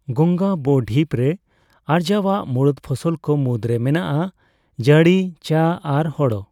ᱜᱟᱝᱜᱟ ᱵᱚᱼᱰᱷᱤᱯᱨᱮ ᱟᱨᱡᱟᱣᱚᱜ ᱢᱩᱲᱩᱫ ᱯᱷᱚᱥᱚᱞ ᱠᱚ ᱢᱩᱫᱽᱨᱮ ᱢᱮᱱᱟᱜᱼᱟ ᱡᱟᱸᱲᱤ, ᱪᱟ, ᱟᱨ ᱦᱳᱲᱳ ᱾